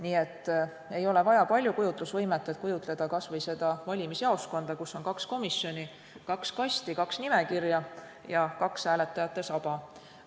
Nii et ei ole vaja palju kujutlusvõimet, et kujutleda kas või valimisjaoskonda, kus on kaks komisjoni, kaks kasti, kaks nimekirja ja kaks hääletajate saba.